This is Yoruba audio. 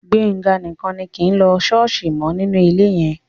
Gbénga nìkan ni kì í lọ ṣọ́ọ̀ṣì mọ́ nínú ilé yẹn